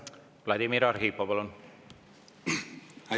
Vladimir Arhipov, palun!